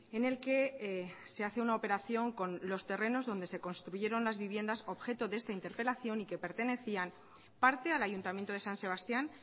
en el que se hace una operación con los terrenos donde se construyeron las viviendas objeto de esta interpelación y que pertenecían parte al ayuntamiento de san sebastián